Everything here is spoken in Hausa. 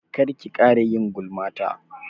Kar ki ƙara yin gulma ta!